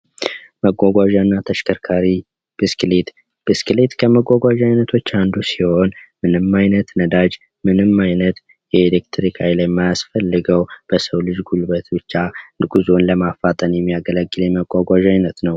መጓጓዣ እና ተሽከርካሪ (ብስክሌት)፦ ብስክሌት ከመጓጓዣ አይነቶች አንዱ ሲሆን ምንም አይነት ነዳጅ ምንም አይነት የኤሌክትሪክ ሀይል የማያስፈልገው በሰው ልጅ ጉልበት ብቻ ጉዞን ለማፋጠን የሚያገለግል የመጓጓዣ አይነት ነው።